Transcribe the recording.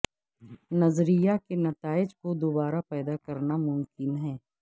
نظریہ کے نتائج کو دوبارہ پیدا کرنا ممکن ہے